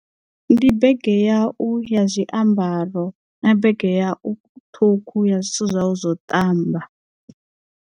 Ndi bege yau ya zwiambaro na bege ya u ṱhukhu ya zwithu zwau zwo ṱamba.